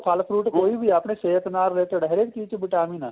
ਫਲ fruit ਕੋਈ ਵੀ ਆ ਸਿਹਤ ਨਾਲ related ਹਰੇਕ ਚੀਜ ਚ vitamin ਏ